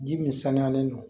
Ji min sanuyalen don